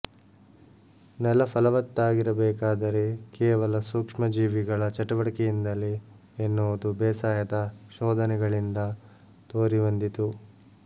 ನೆಲ ಫಲವತ್ತಾಗಿರಬೇಕಾದರೆ ಕೇವಲ ಸೂಕ್ಷ್ಮಜೀವಿಗಳ ಚಟುವಟಿಕೆಯಿಂದಲೇ ಎನ್ನುವುದು ಬೇಸಾಯದ ಶೋಧನೆಗಳಿಂದ ತೋರಿಬಂದಿತು